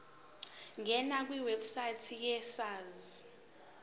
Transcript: ngena kwiwebsite yesars